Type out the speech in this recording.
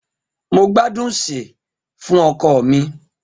Mo gbadun sè fun oko mi.